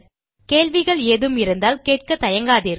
கேள்விகள் ஏதும் இருந்தால் கேட்க தயங்காதீர்கள்